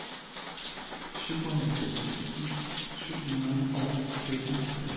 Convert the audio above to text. syvoghalvfems tusind syv hundrede og femoghalvfjerds